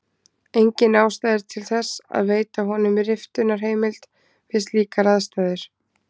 Engin ástæða er til þess að veita honum riftunarheimild við slíkar aðstæður.